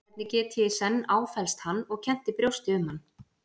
Hvernig get ég í senn áfellst hann og kennt í brjósti um hann?